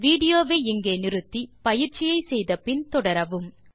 video வை நிறுத்தி பயிற்சியை முடித்த பின் தொடரவும்